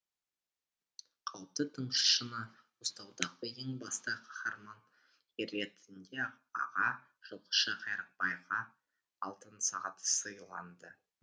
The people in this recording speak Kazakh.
қауіпті тыңшыны ұстаудағы ең басты қаһарман ретінде аға жылқышы қайрақбайға алтын сағат сыйланды